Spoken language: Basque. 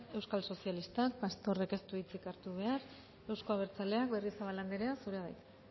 euskal sozialistak pastorrek ez du hitzik hartu behar euzko abertzaleak berriozabal anderea zurea da hitza